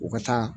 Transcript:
U ka taa